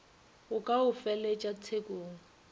go ka go felegetša tshekong